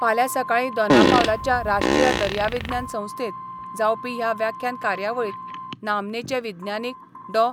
फाल्यां सकाळी दोनापावलाच्या राष्ट्रीय दर्याविज्ञान संस्थेत जावपी ह्या व्याख्यान कार्यावळीत नामनेचे विज्ञानिक डॉ.